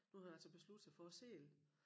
Nu havde hun altså besluttet sig for at sælge